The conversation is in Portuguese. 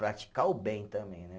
Praticar o bem também, né?